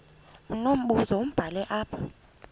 unombuzo wubhale apha